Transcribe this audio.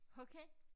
Okay